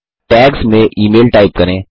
tags में email type करें